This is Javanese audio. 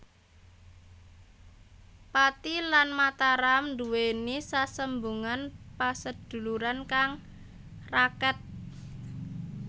Pathi lan Mataram nduweni sesambungan paseduluran kang raket